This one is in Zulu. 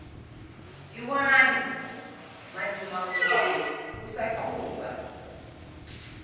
lwani madumakude kusaqhuba